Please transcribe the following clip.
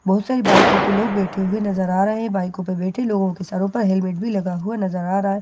बहुत सारे बाइकों पे लोग बैठे हुए नजर आ रहे हैं बाइकों पे बैठे लोगों के सरो पे हेलमेट भी लगा हुआ नजर आ रहा है बहुत --